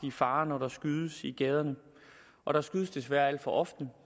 i fare når der skydes i gaderne og der skydes desværre alt for ofte